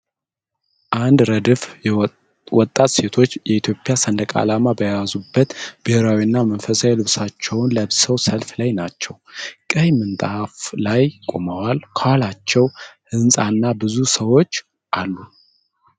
አንድ ረድፍ ወጣት ሴቶች የኢትዮጵያ ሰንደቅ ዓላማን በያዙበት ብሔራዊና መንፈሳዊ ልብሶችን ለብሰው ሰልፍ ላይ ናቸው። ቀይ ምንጣፍ ላይ ቆመዋል፤ ከኋላቸው ህንፃና ብዙ ሰዎች አሉ።